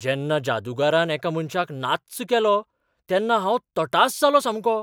जेन्ना जादूगारान एका मनशाक नाच्च केलो तेन्ना हांव तटास जालों सामको!